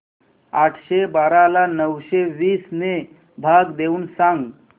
आठशे बारा ला नऊशे वीस ने भाग देऊन सांग